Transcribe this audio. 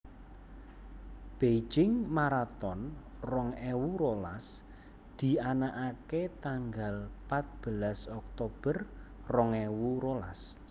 Beijing Maraton rong ewu rolas dianake tanggal patbelas Oktober rong ewu rolas